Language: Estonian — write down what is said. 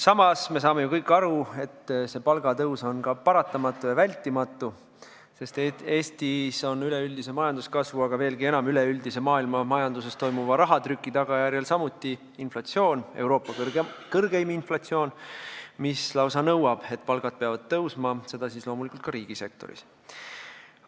Samas me saame ju kõik aru, et see palgatõus on ka paratamatu ja vältimatu, sest Eestis on üleüldise majanduskasvu, aga veelgi enam üleüldise maailmamajanduses toimuva rahatrüki tagajärjel samuti inflatsioon – Euroopa kõrgeim inflatsioon, mis lausa nõuab, et palgad peavad tõusma, ja seda loomulikult ka riigisektoris.